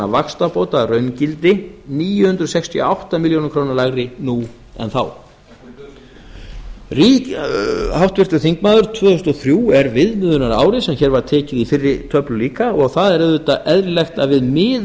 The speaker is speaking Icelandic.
vaxtabóta að raungildi níu hundruð sextíu og átta milljónir króna lægri nú en þá háttvirtur þingmaður tvö þúsund og þrjú er viðmiðunarárið sem hér var tekið í fyrri töflu líka og það er auðvitað eðlilegt að við miðum